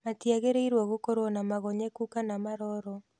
Matiagĩrĩirũo gũkorũo na magonyekũ kana na maroro.